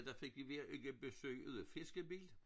Ovre i Vestermarie der fik vi hver uge besøg af en fiskebil